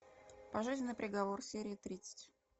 пожизненный приговор серия тридцать